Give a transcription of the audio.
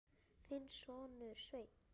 Þinn sonur, Sveinn.